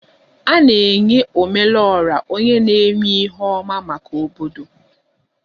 A na-enye Ome lu Ora onye na-eme ihe ọma maka obodo